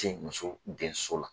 Ten muso denso la .